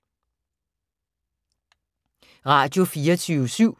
Radio24syv